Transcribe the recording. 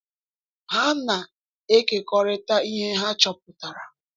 Ha na-ekekọrịta ihe ha chọpụtara.